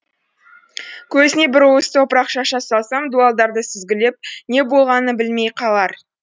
көзіне бір уыс топырақ шаша салсам дуалдарды сүзгілеп не болғанын білмей қалар